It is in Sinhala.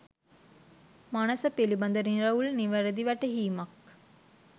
මනැස පිළිබඳ නිරවුල්, නිවැරැදි වැටහීමක්